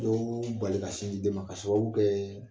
Dɔ min'i bali ka sin di den ma k'a sababu kɛɛ